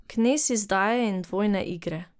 Knez izdaje in dvojne igre.